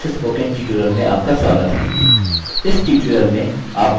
इस tutorial में आप सीखेंगे कि: